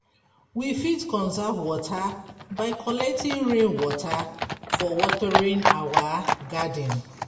We fit conserve water by collecting rain water for watering our garden